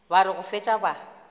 ba re go fetša ba